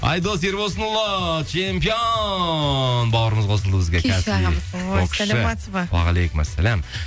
айдос ерболсынұлы чемпион бауырымыз қосылды бізге күйші ағамыз о саламатсыз ба уағалейкум ассалям